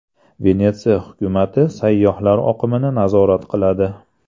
Venetsiya hukumati sayyohlar oqimini nazorat qiladi.